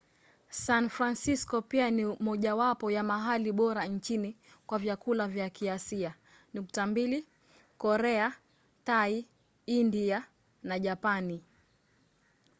san francisco pia ni mojawapo ya mahali bora nchini kwa vyakula vya kiasia: korea thai india na japani